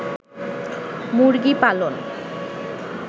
মুরগি পালন